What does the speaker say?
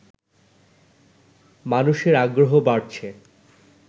মানুষের আগ্রহ বাড়ছে